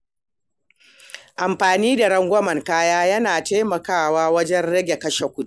Amfani da rangwamen kaya yana taimakawa wajen rage kashe kuɗi.